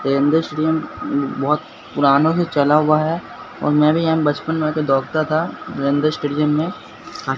Narendra stadium बहुत पुरानों से चला हुआ है और मैं भी यहां बचपन में आ के दौड़ता था नरेंद्र स्टेडियम में।